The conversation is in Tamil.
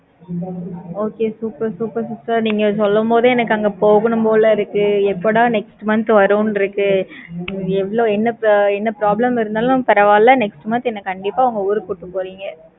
Okay super super sister நீங்க சொல்லும் போதே, எனக்கு அங்க போகணும் போல இருக்கு. எப்படா next month வரும்ன்னு இருக்கு எவ்ளோ, என்ன, என்ன problem இருந்தாலும் பரவாயில்லை. next month என்னை கண்டிப்பா, அவங்க ஊருக்கு கூட்டிட்டு போறீங்க.